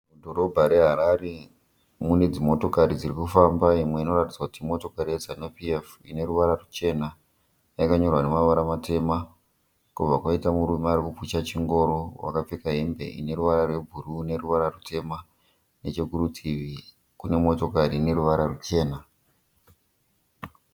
Dhorobha reHarare mune dzimotokari dzirikufamba imwe inoratidza kuti imotokari ye Zanu PF. ineruvara ruchena yakanyorwa nemavara matema. Kwobva kwaita murume arikupusha chingoro akapfeka hembe ine ruvara rwe bhuruu neruvara rutema. Nechekurutivi Kune motokari ine ruvara ruchena.